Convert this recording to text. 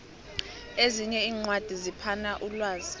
ezinye iincwadi ziphana umlwazi